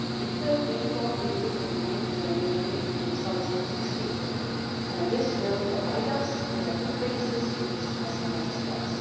It will be completed in mid January 2016 and this will provide us with a good basis to discuss next steps.